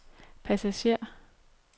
passager